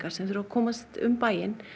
sem þurfa að komast um bæinn